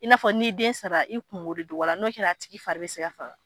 I n'a fɔ n'i den sara, i kunko de don wala n'o kɛra a tigi fari be se ka faga.